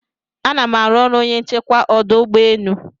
Anam aru ọrụ onye nchekwa ọdụ ụgbọ enu